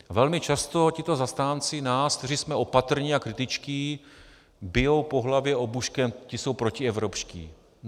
Velmi často tito zastánci nás, kteří jsme opatrní a kritičtí, bijou po hlavě obuškem: ti jsou protievropští!